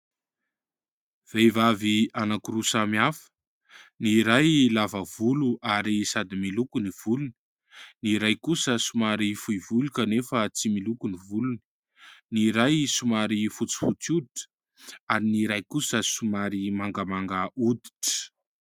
Vehivavy anankiroa samihafa : ny iray lava volo ary sady miloko ny volony, ny iray kosa somary fohy volo kanefa tsy miloko ny volony ; ny iray somary fotsifotsy hoditra ary ny iray kosa somary mangamanga hoditra.